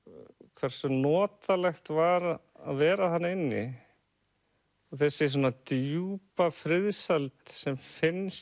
hversu notalegt var að vera þarna inni og þessi svona djúpa friðsæld sem finnst